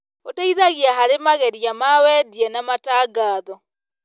ũteithagia harĩ mageria ma wendia na matangatho.